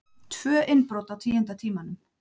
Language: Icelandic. Tvö innbrot á tíunda tímanum